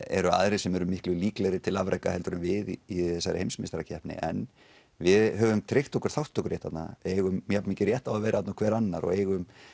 eru aðrir sem eru miklu líklegri til afreka heldur en við í þessari heimsmeistarakeppni en við höfum tryggt okkur þátttökurétt þarna við eigum jafnmikinn rétt á því að vera þarna og hver annar og eigum